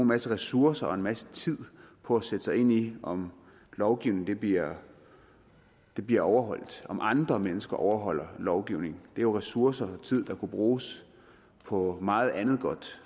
masse ressourcer og en masse tid på at sætte sig ind i om lovgivningen bliver bliver overholdt om andre mennesker overholder lovgivningen det er jo ressourcer tid der kunne bruges på meget andet godt